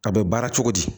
A bɛ baara cogo di